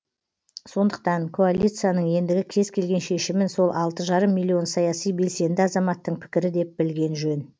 сондықтан коалицияның ендігі кез келген шешімін сол алты жарым миллион саяси белсенді азаматтың пікірі деп білген жөн